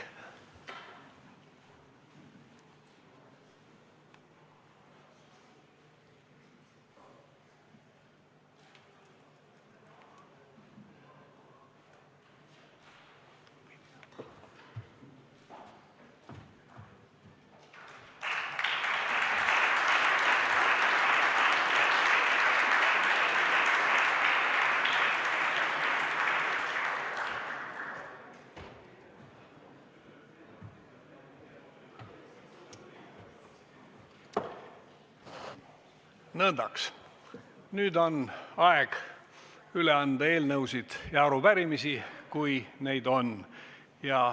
Nõndaks, nüüd on aeg üle anda eelnõusid ja arupärimisi, kui neid on.